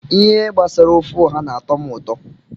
Ihe gbasara ofe ọha n'atọ m ụtọ